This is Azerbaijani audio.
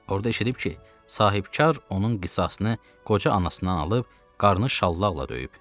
Orda eşidib ki, sahibkar onun qisasını qoca anasından alıb, qarnını şallaqla döyüb.